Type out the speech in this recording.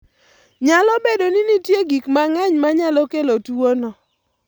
Nyalo bedo ni nitie gik mang'eny ma nyalo kelo tuwono.